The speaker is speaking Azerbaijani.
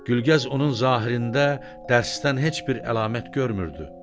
Gülgəz onun zahirində dərsdən heç bir əlamət görmürdü.